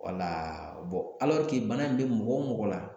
bana in bɛ mɔgɔ o mɔgɔ la